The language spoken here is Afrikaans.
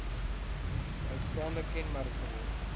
uitstaande kenmerk geword